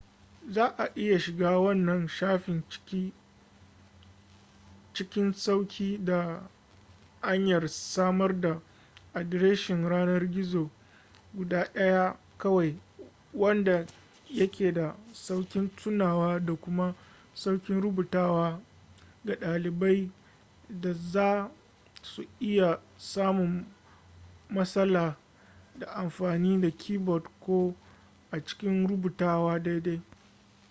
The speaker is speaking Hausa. za a iya shiga wannan shafin cikin sauƙi ta hanyar samar da adireshin yanar-gizo guda daya kawai wanda ya ke da sauƙin tunawa da kuma sauƙin rubutawa ga ɗaliban da za su iya samun matsala ta amfani da keyboard ko a cikin rubutawa daidai